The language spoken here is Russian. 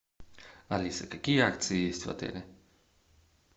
алиса какие акции есть в отеле